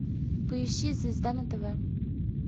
поищи звезда на тв